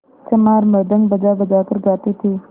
चमार मृदंग बजाबजा कर गाते थे